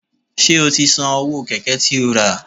Ṣé o ti san owó Kẹ̀kẹ́ tí ó rà?